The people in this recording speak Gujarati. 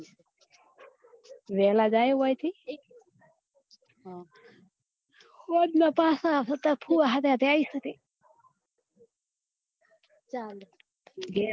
વેહલા જયો ઓય થી સોજના પાછા આવસો તાર ફુવા સાથે સાથે આઇસુ રી ચાલે ઘેર